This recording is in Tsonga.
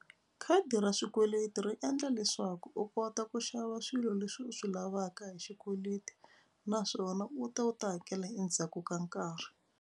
Khadi ra swikweleti ri endla leswaku u kota ku xava swilo leswi u swi lavaka hi xikweleti naswona u ta u ta hakela endzhaku ka nkarhi.